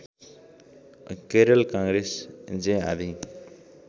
केरल काङ्ग्रेस जे आदि